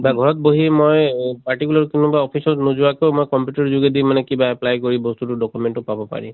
বা ঘৰত বহি মই particular কোনোবা office ত নোযোৱাকৈও মই computer যোগেদি কিবা apply কৰি বস্তুটো document টো পাব পাৰি।